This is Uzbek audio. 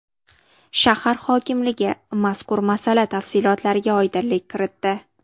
Shahar hokimligi mazkur masala tafsilotlariga oydinlik kiritdi .